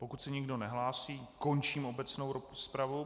Pokud se nikdo nehlásí, končím obecnou rozpravu.